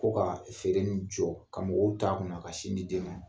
Ko kaa feere nin jɔ, ka mɔgɔw t'a kunna ka sin di den ma.